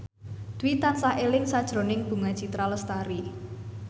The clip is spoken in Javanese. Dwi tansah eling sakjroning Bunga Citra Lestari